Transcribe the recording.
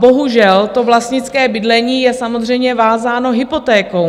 Bohužel, to vlastnické bydlení je samozřejmě vázáno hypotékou.